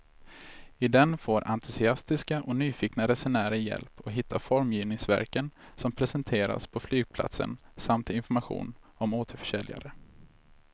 I den får entusiastiska och nyfikna resenärer hjälp att hitta formgivningsverken som presenteras på flygplatsen samt information om återförsäljare.